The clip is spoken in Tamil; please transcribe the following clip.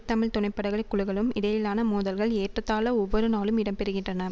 தமிழ் துணைப்படைகளை குழுகளும் இடையிலான மோதல்கள் ஏறத்தாழ ஒவ்வொரு நாளும் இடம்பெறுகின்றன